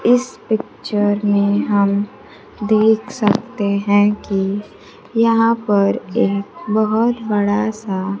इस पिक्चर में हम देख सकते हैं कि यहां पर एक बहोत बड़ा सा--